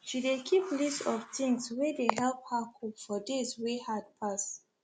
she dey keep list of things wey dey help her cope for days wey hard pass